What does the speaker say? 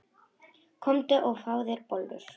Komdu og fáðu þér bollur.